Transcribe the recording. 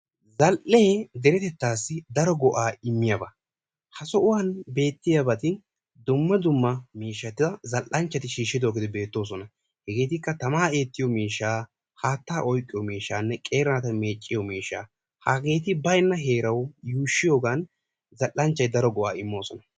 Zal"e deretettassi daro go''a immiyaaba, ha sohuwaan beettiyaagbati dumma dumma miishshata zal''anchchati shiishshidoogeeti beettoosona. hegetikka tamma oyqqiyo miishsha, haattaa oyqqiyo miishshanne qeeri naata meecciyo miishshaa. hageetikka baynna heeraw yuushshiyoogan zal''anchchati daro miishsha demmoosona.